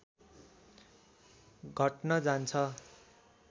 घट्न जान्छ